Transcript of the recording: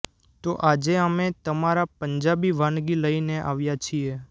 તો આજે અમે તમારા પંજાબી વાનગી લઇને આવ્યા છીએ